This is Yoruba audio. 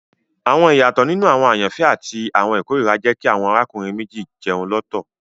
Awọn iyatọ ninu awọn ayanfẹ ati awọn ikorira jẹ ki awọn arákùnrin méjì jẹun lọtọ